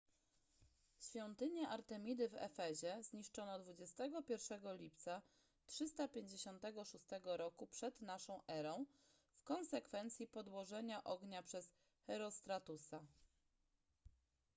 świątynię artemidy w efezie zniszczono 21 lipca 356 r p.n.e. w konsekwencji podłożenia ognia przez herostratusa